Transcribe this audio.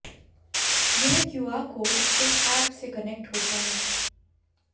यह QR code एक app से कनेक्ट होता है